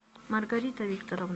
маргарита викторовна